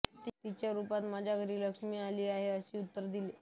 तिच्या रूपातच माझ्या घरी लक्ष्मी आली आहे असे उत्तर दिले